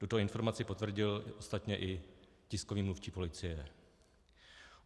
Tuto informaci potvrdil ostatně i tiskový mluvčí policie.